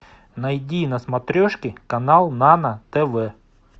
найди на смотрешке канал нано тв